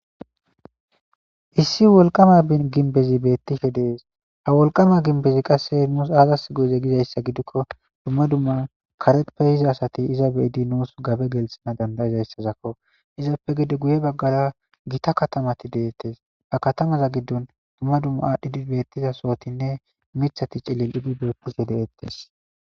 issi wolqama ginbezi beettishe dees ha wolqama ginbezi qasse nuus aazas goeze gizayssa gidikko dumma dumma karetpe hiza asati iza beidi nuus gabe gelithana dandaizayssazakko izappe gede guye baggara gita katamati deettes ba katamaza giddon dumma dumma aadhdhidi beettiza sootinne mithati cilil idi beettishe deettes